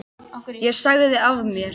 Ég sagði af mér.